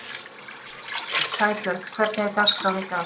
Sæbjörg, hvernig er dagskráin í dag?